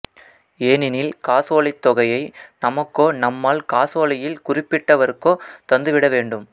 ஏனெனில் காசோலைத் தொகையை நமக்கோ நம்மால் காசோலையில் குறிக்கப்பட்டவருக்கோ தந்து விட வேண்டும்